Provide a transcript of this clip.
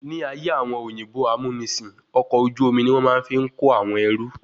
Ní ayé àwọn òyìnbó amúnisìn, ọkọ̀ ojú omi ni wọ́n máa ń fi ń kó àwọn ẹrú